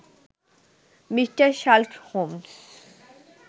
Mr Sherlock Holmes